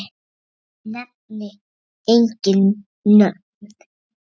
Nefni engin nöfn.